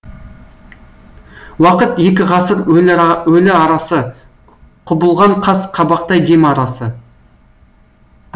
уақыт екі ғасыр өліарасы құбылған қас қабақтай дем арасы